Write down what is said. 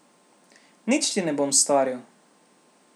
Nič ti ne bom storil.